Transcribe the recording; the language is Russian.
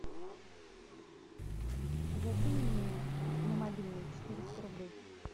закинь мне на мобильный четыреста рублей